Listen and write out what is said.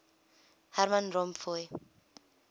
herman van rompuy